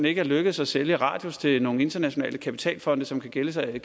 ikke lykkedes at sælge radius til nogle internationale kapitalfonde som kan gemme sig i